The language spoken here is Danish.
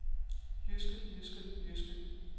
jyske jyske jyske